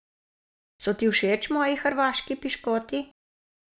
So ti všeč moji hrvaški piškoti?